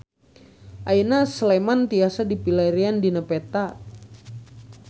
Ayeuna Sleman tiasa dipilarian dina peta